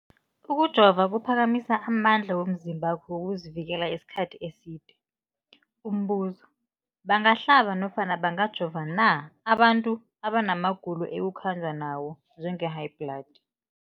Ukujova kuphakamisa amandla womzimbakho wokuzivikela isikhathi eside. Umbuzo, bangahlaba nofana bangajova na abantu abana magulo ekukhanjwa nawo, njengehayibhladi?